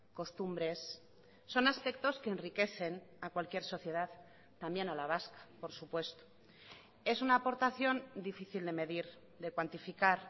costumbres son aspectos que enriquecen a cualquier sociedad también a la vasca por supuesto es una aportación difícil de medir de cuantificar